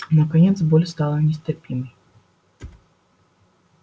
наконец боль стала нестерпимой